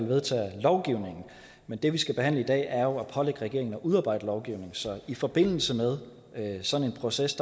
vedtager lovgivning men det vi behandler i dag er jo at pålægge regeringen at udarbejde lovgivning så i forbindelse med sådan en proces